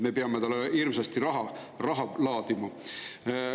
Me peame talle hirmsasti raha laadima.